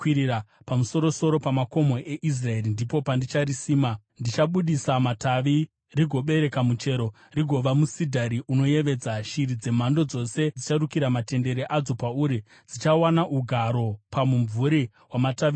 Pamusoro-soro pamakomo eIsraeri ndipo pandicharisima; richabudisa matavi rigobereka muchero rigova musidhari unoyevedza. Shiri dzemhando dzose dzicharukira matendere adzo pauri; dzichawana ugaro pamumvuri wamatavi awo.